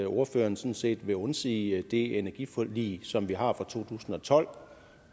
ordføreren sådan set vil undsige det energiforlig som vi har fra to tusind og tolv